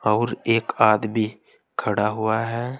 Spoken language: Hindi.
और एक आदमी खड़ा हुआ है।